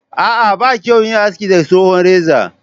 a'a ba kyau yin haski da tsohon reza